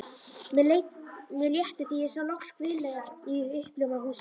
Mér létti þegar ég sá loks grilla í uppljómað húsið.